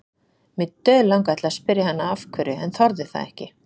Mig dauðlangaði til að spyrja hana af hverju en þorði það ekki.